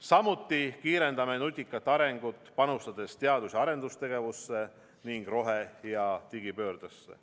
Samuti kiirendame nutikat arengut, panustades teadus- ja arendustegevusse ning rohe- ja digipöördesse.